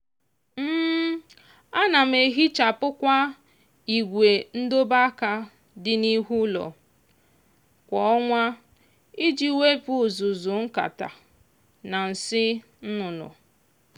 ana m ehichapụkwa igwe ndobe aka dị n'ihu ụlọ kwa ọnwa iji wepụ uzuzu nkata na nsị nnụnụ.